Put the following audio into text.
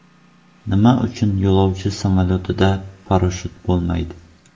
Nima uchun yo‘lovchi samolyotlarida parashyut bo‘lmaydi?.